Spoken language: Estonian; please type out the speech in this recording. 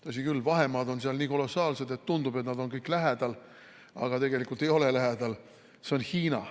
Tõsi küll, vahemaad on seal nii kolossaalsed, et tundub, et nad on kõik lähestikku, aga tegelikult ei ole.